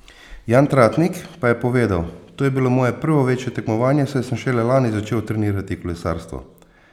Jan Tratnik pa je povedal: "To je bilo moje prvo večje tekmovanje, saj sem šele lani začel trenirati kolesarstvo.